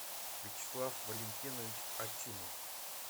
вячеслав валентинович ачимов